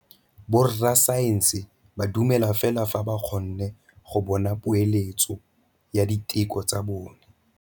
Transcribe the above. Borra saense ba dumela fela fa ba kgonne go bona poeletsô ya diteko tsa bone.